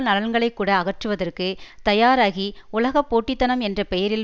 நலன்களைக்கூட அகற்றுவதற்கு தயாராகி உலக போட்டித்தனம் என்ற பெயரில்